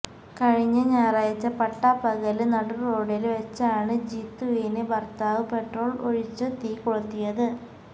കഴിഞ്ഞ ഞായറാഴ്ച്ച പട്ടാപ്പകല് നടുറോഡില് വെച്ചാണ് ജീതുവിനെ ഭര്ത്താവ് പെട്രോള് ഒഴിച്ചു തീ കൊളുത്തിയത്